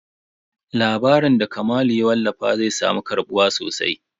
Labarin da Kamalu ya wallafa zai samu karɓuwa sosai.